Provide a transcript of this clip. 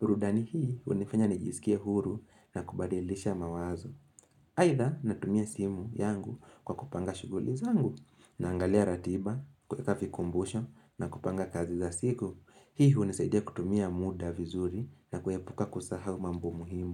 burudani hii hunifanya nijisikie huru na kubadilisha mawazo aidha natumia simu yangu kwa kupanga shuguli zangu naangalia ratiba kuweka vikumbusho na kupanga kazi za siku. Hii hunisaidia kutumia muda vizuri na kuepuka kusahau mambo muhimu.